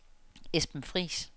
Esben Friis